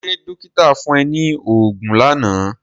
Ṣé dọ́kíta fún ẹ ní oògùn lánàá?